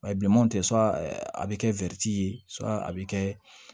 bilenmanw tɛ a bɛ kɛ ye a bɛ kɛ